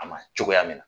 A ma cogoya min na